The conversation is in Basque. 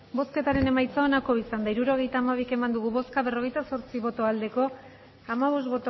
hirurogeita hamabi eman dugu bozka berrogeita zortzi bai hamabost